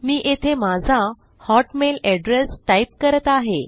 मी येथे माझा Hotmail address type करत आहे